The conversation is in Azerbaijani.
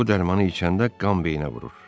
Bu dərmanı içəndə qan beyinə vurur.